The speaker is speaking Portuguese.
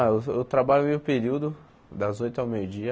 Ah, eu eu trabalho meio período das oito ao meio-dia.